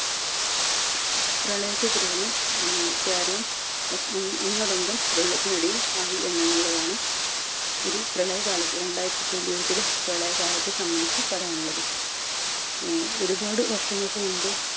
പ്രളയത്തെ തുടർന്ന് മ്മ് കേരളം ഒ ഒന്നടങ്കം വെള്ളത്തിനടിയിൽ ആയി എന്നതിലുള്ളതാണ് ഒരു പ്രളയകാലത്തെ രണ്ടായിരത്തിപതിനെട്ടിലെ പ്രളയകാലത്തെ സംബന്ധിച്ചു പറയാൻ ഉള്ളത്. ഏർ ഒരുപാട് വർഷങ്ങൾക്ക് മുമ്പ്